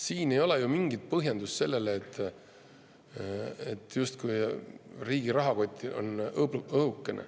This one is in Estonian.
Siin ei ole ju mingit põhjendust, justkui riigi rahakott on õhuke.